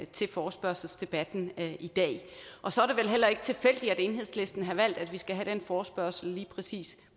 til forespørgselsdebatten i dag og så er det vel heller ikke tilfældigt at enhedslisten har valgt at vi skal have den forespørgsel lige præcis